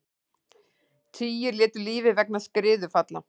Tugir létu lífið vegna skriðufalla